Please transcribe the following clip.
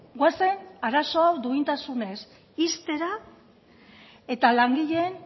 goazen arazo hau duintasunez ixtera eta langileen